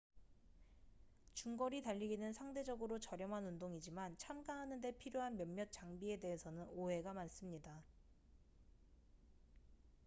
중거리 달리기는 상대적으로 저렴한 운동이지만 참가하는데 필요한 몇몇 장비에 대해서는 오해가 많습니다